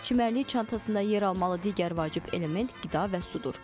Çimərlik çantasında yer almalı digər vacib element qida və sudur.